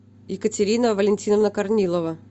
екатерина валентиновна корнилова